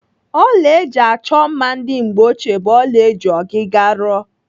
Ọla eji achọ mma ndị mgbeochie bụ ọla eji ọgịga rụọ.